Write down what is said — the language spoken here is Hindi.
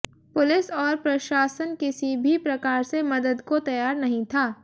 पुलिस और प्रशाशन किसी भी प्रकार से मदद को तैयार नहीं था